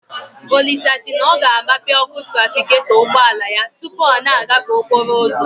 Olisa si na ọ ga-agbape ọkụ trafigetọ ụgbọala ya tụpụ ọ na-agafe okporo ụzọ